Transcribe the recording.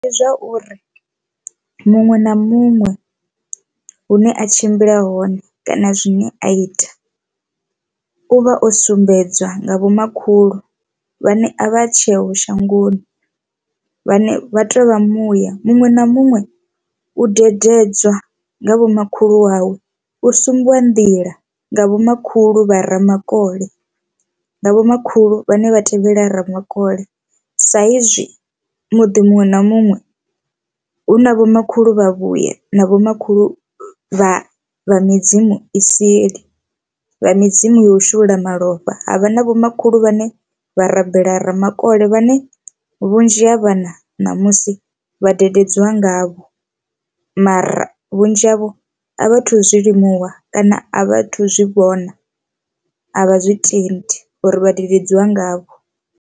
Ndi zwauri muṅwe na muṅwe hune a tshimbila hone kana zwine a ita uvha o sumbedzwa nga vhomakhulu vhane a vha tsheho shangoni vhane vha tovha muya. Muṅwe na muṅwe u dededza nga vho makhulu wawe u sumbwa nḓila nga vhomakhulu vha ramakole nga vho makhulu vhane vha tevhela ramakole, sa izwi muḓi muṅwe na muṅwe hu na vhomakhulu vha vhuya na vhomakhulu vha vha midzimu i seli vha midzimu ya u shulula malofha. Havha na vhomakhulu vhane vha rabela ramakole vhane vhunzhi ha a vhana ṋamusi vhadededzi wa ngavho, mara vhunzhi havho a vha thu zwilimuwa kana a vha thu zwi vhona a vha zwi tendi uri vhadededzi wa ngavho.